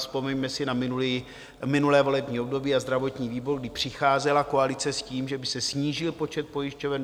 Vzpomeňme si na minulé volební období a zdravotní výbor, kdy přicházela koalice s tím, že by se snížil počet pojišťoven.